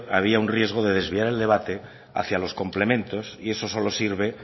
había un riesgo de desviar el debate hacia los complementos y eso solo sirve